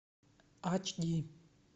эйч ди